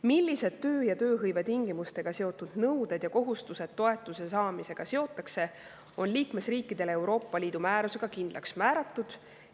Millised töö‑ ja tööhõivetingimustega seotud nõuded ja kohustused toetuse saamisega seotakse, on liikmesriikidele Euroopa Liidu määrusega kindlaks määratud.